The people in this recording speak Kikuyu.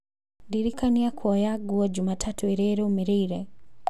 ndĩrikania kuoya nguo jumatatũ ĩrĩa ĩrũmĩrĩire